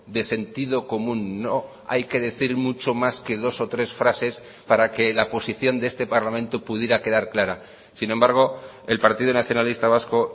de sentido común no hay que decir mucho más que dos o tres frases para que la posición de este parlamento pudiera quedar clara sin embargo el partido nacionalista vasco